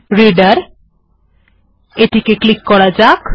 এবার এটিকে ক্লিক করা যাক